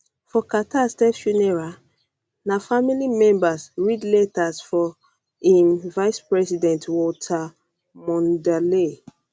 for carter state funeral na funeral na family members read letters from im vicepresident walter mondale